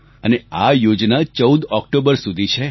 અને આ યોજના 14 ઓક્ટોબર સુધી છે